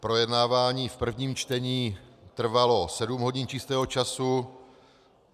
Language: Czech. Projednávání v prvním čtení trvalo sedm hodin čistého času.